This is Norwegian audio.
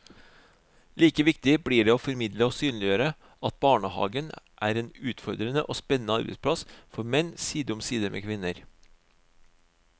Like viktig blir det å formidle og synliggjøre at barnehagen er en utfordrende og spennende arbeidsplass for menn, side om side med kvinner.